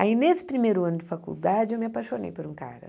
Aí, nesse primeiro ano de faculdade, eu me apaixonei por um cara.